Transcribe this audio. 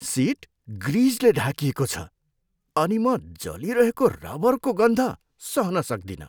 Seat ग्रिजले ढाकिएको छ अनि म जलिरहेको रबरको गन्ध सहन सक्दिनँ।